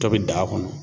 Tɔ bɛ da kɔnɔ